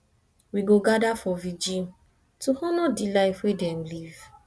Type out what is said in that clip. we go gather for vigil to honor di life wey dem live